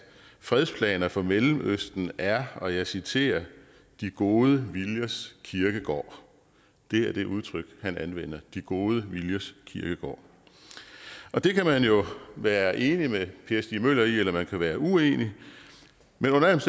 fredsplaner for mellemøsten er og jeg citerer de gode viljers kirkegård det er det udtryk han anvender de gode viljers kirkegård det kan man jo være enig med per stig møller i eller man kan være uenig men under alle